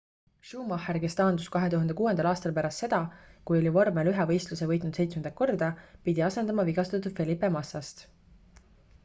schumacher kes taandus 2006 aastal pärast seda kui oli vormel 1 võistluse võitnud seitsmendat korda pidi asendama vigastatud felipe massast